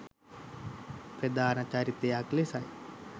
ප්‍රධාන චරිතයක් ලෙසයි